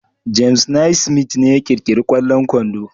James Naismith ne ya kirkiri kwallon kwando